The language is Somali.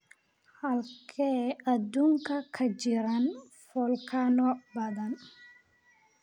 Halkee adduunka ka jiraan volcano badan?